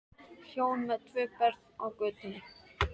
Hjón með tvö börn á götunni!